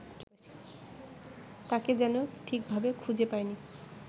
তাঁকে যেন ঠিকভাবে খুঁজে পাইনি